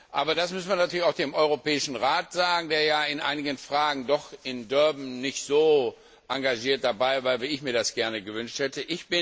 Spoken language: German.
Aber das müssen wir natürlich auch dem Europäischen Rat sagen, der in einigen Fragen doch in Durban nicht so engagiert dabei war, wie ich mir das gewünscht hätte.